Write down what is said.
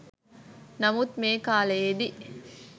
නමුත් මේ කාලයේදී